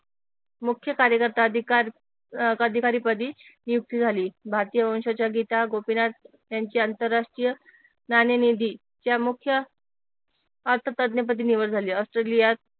मुख्य कार्यकर्ता अधिकार अह अधिकारीपदी नियुक्ती झाली भारतीय वंशाच्या गीता गोपीनाथ यांची आंतरराष्ट्रीय नाणे निधी या मुख्य पदी निवड झाली ऑस्ट्रेलियात